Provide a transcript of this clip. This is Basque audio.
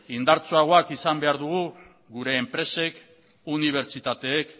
indartsuagoak izan behar dugu gure enpresek unibertsitateek